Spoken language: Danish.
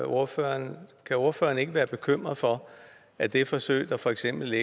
ordføreren kan ordføreren ikke være bekymret for at det forsøg der for eksempel